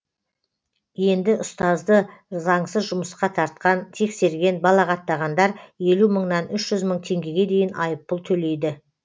енді ұстазды заңсыз жұмысқа тартқан тексерген балағаттағандар елу мыңнан үш жүз мың теңгеге дейін айыппұл төлейді